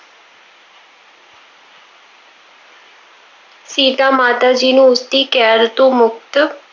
ਸੀਤਾ ਮਾਤਾ ਜੀ ਨੂੰ ਉਸਦੀ ਕੈਦ ਤੋਂ ਮੁਕਤ,